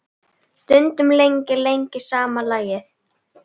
Stundum lengi, lengi sama lagið.